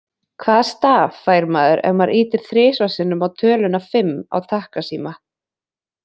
Hvaða staf fær maður ef maður ýtir þrisvar sinnum á töluna fimm á takkasíma?